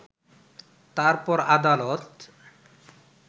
তারপর আদালত